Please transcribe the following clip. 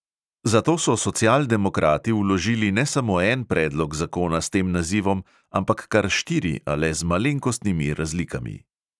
Zato so socialdemokrati vložili ne samo en predlog zakona s tem nazivom, ampak kar štiri, a le z malenkostnimi razlikami.